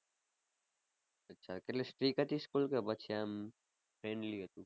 અચ્છા કેટલી strict હતી school કે પછી આમ friendly હતી?